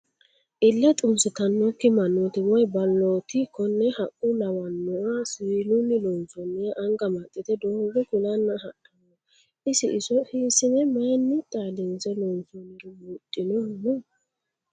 Iille xunsittanokki mannoti woyi baloti kone haqqa lawanoha siwiilunni loonsonniha anga amaxite doogo kulana hadhano, isi iso hiisine mayinni xaadinse loonsonniro buuxinohu no ?